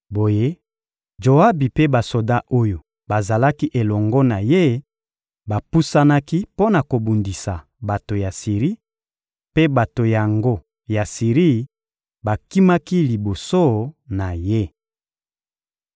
Boye, Joabi mpe basoda oyo bazalaki elongo na ye bapusanaki mpo na kobundisa bato ya Siri; mpe bato yango ya Siri bakimaki liboso na ye.